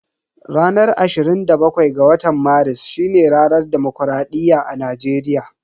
Ranar ashirin da bakwai ga watan Maris shine ranar dimokuraɗiyya a Najeriya.